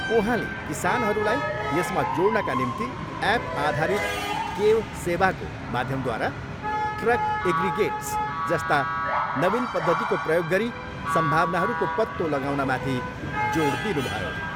उहाँले किसानहरूलाई यसमा जोड्नका निम्ति ऐप आधारित 'केव सेवा'को माध्यमद्वारा ट्रक एग्रिगेटस जस्ता नवीन पद्धतिको प्रयोग गरी सम्भावनाहरूको पत्तो लगाउनमाथि जोड दिनुभयो।